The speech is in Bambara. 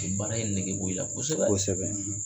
baara in nege bɔ i la kosɛbɛ kosɛbɛ.